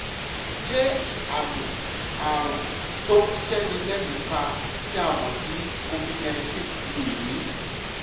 ṣé àmì ààrùn tó ń séni léèémí pa tí a mọ̀ sí covid-nineteen ni èyí?